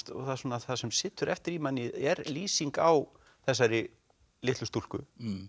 það það sem situr eftir í manni er lýsing á þessari litlu stúlku